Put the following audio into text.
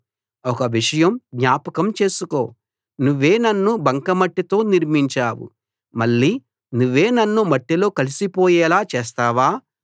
ఒక విషయం జ్ఞాపకం చేసుకో నువ్వే నన్ను బంకమట్టితో నిర్మించావు మళ్ళీ నువ్వే నన్ను మట్టిలో కలిసిపోయేలా చేస్తావా